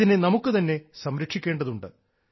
ഇതിനെ നമുക്കു തന്നെ സംരക്ഷിക്കേണ്ടതുണ്ട്